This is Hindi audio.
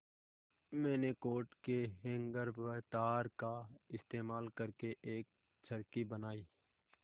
मैंने कोट के हैंगर व तार का इस्तेमाल करके एक चरखी बनाई